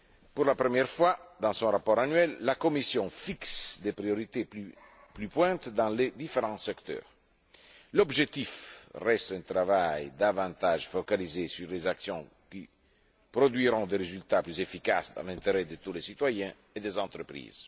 Pour la première fois, dans son rapport annuel, la Commission fixe des priorités plus pointues dans les différents secteurs. L'objectif reste un travail davantage focalisé sur les actions qui produiront des résultats plus efficaces dans l'intérêt de tous les citoyens et des entreprises.